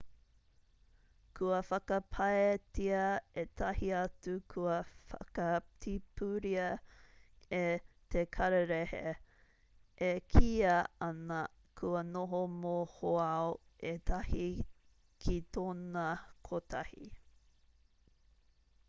kua whakapaetia ētahi atu kua whakatipuria e te kararehe e kīia ana kua noho mohoao ētahi ki tōna kotahi